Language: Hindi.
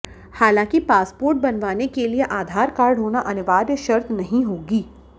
हांलाकि पासपोर्ट बनवाने के लिए आधार कार्ड होना अनिवार्य शर्त नहीं होगी